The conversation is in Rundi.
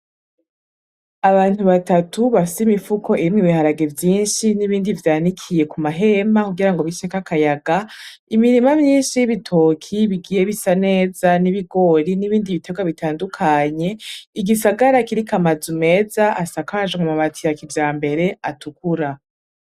Abantu batatu bafise imifuko irimwo ibiharage vyinshi, n'ibindi vyanikiye ku mahema kugira biceko akayaga, imirima myinshi y'ibitoki bigiye bisa neza, n'ibigori, n'ibindi bitegwa bitandukanye, igisagara kiriko amazu meza asakajwe amabati ya kijambere atukura.